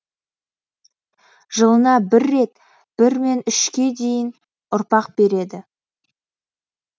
жылына бір рет бірмен үшке дейін ұрпақ береді